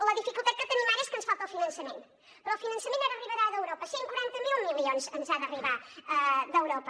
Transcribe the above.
la dificultat que tenim ara és que ens falta el finançament però el finançament ara arribarà d’europa cent i quaranta miler milions ens han d’arribar d’europa